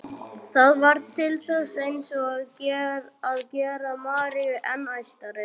Það varð til þess eins að gera Maríu enn æstari.